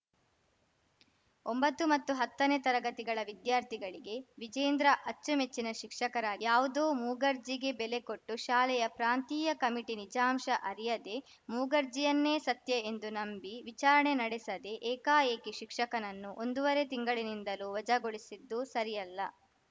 ಒಂಬತ್ತು ಮತ್ತು ಹತ್ತನೇ ತರಗತಿಗಳ ವಿದ್ಯಾರ್ಥಿಗಳಿಗೆ ವಿಜೇಂದ್ರ ಅಚ್ಚುಮೆಚ್ಚಿನ ಶಿಕ್ಷಕರಾ ಯಾವುದೋ ಮೂಗರ್ಜಿಗೆ ಬೆಲೆ ಕೊಟ್ಟು ಶಾಲೆಯ ಪ್ರಾಂತೀಯ ಕಮಿಟಿ ನಿಜಾಂಶ ಅರಿಯದೇ ಮೂಗರ್ಜಿಯನ್ನೇ ಸತ್ಯ ಎಂದು ನಂಬಿ ವಿಚಾರಣೆ ನಡೆಸದೆ ಏಕಾಏಕಿ ಶಿಕ್ಷಕನನ್ನು ಒಂದೂವರೆ ತಿಂಗಳಿನಿಂದಲೂ ವಜಾಗೊಳಿಸಿದ್ದು ಸರಿಯಲ್ಲ